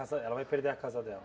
Ela vai perder a casa dela?